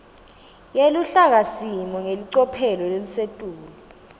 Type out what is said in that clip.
yeluhlakasimo ngelicophelo lelisetulu